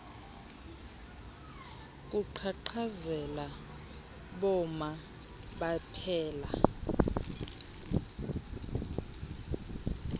kuqhaqhazela boma baphela